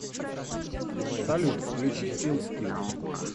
салют включи ил скил